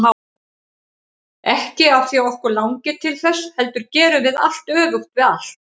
Ekki af því að okkur langi til þess, heldur gerum við allt öfugt við allt.